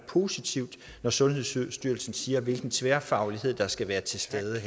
positivt når sundhedsstyrelsen siger hvilken tværfaglighed der skal være til stede